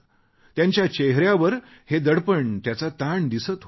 त्यांच्या चेहऱ्यावर हे दडपण त्याचा ताण दिसत होता